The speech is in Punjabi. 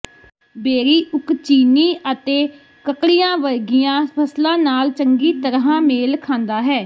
ਬੇਰੀ ਉਕਚਿਨੀ ਅਤੇ ਕਕੜੀਆਂ ਵਰਗੀਆਂ ਫਸਲਾਂ ਨਾਲ ਚੰਗੀ ਤਰ੍ਹਾਂ ਮੇਲ ਖਾਂਦਾ ਹੈ